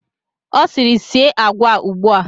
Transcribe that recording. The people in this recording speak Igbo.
Ọ sịrị, sie agwa a ugbu a!